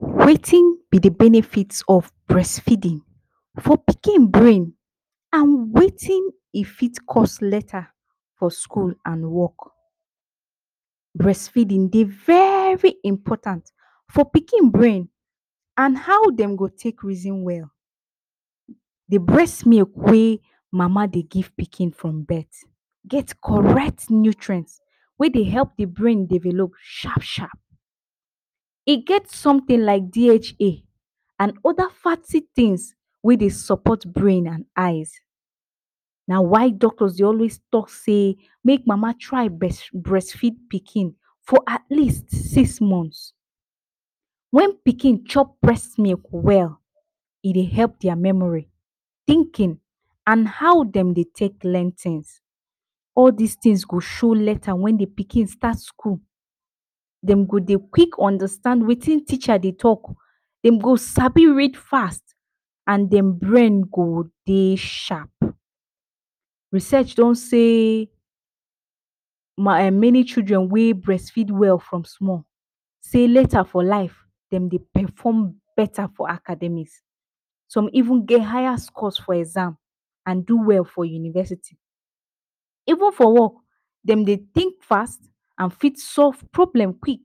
Wetin be the benefit of brestfeeding for pikin brain and wetin e fit cause later for skul and work? Brest feedin dey very important for pikin brain and how dem go take reason well. The brest milk wey mama dey give pikin from birth get correct nutrient wey dey help the brain develop shap-shap, e get somtin like DHA and oda fatty tins wey dey sopot brain and eyes, na why doctors dey always talk sey make mama try brest feed pikin for atleast six month. Wen pikin chop brest milk well, e dey help dia memori, tinkin and how dem dey take learn tins. All dis tins go show later wen the pikin start skul, dem go dey quik understand wetin teacher dey talk, dem go sabi read fast and dem brain go dey shap. Research don sey ,na many children wey brest feed well from small sey later for life, dem dey perform beta for academics, some even get higher scores for exam and do well for university. Even for work, dem dey tink fast and fit dey solve problem quik